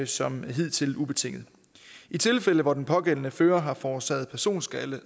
som hidtil ubetinget i tilfælde hvor den pågældende fører har forårsaget personskade